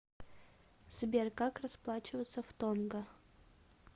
сбер как расплачиваться в тонга